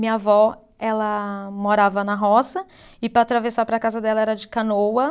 Minha avó, ela morava na roça e para atravessar para a casa dela era de canoa.